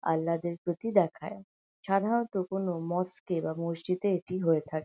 আল্লাদের প্রতি দেখায় সাধারণত কোন মসক এ বা মসজিদে এটি হয়ে থাকে।